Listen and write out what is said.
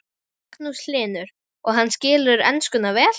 Magnús Hlynur: Og hann skilur enskuna vel?